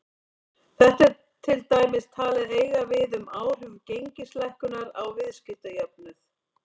Þetta er til dæmis talið eiga við um áhrif gengislækkunar á viðskiptajöfnuð.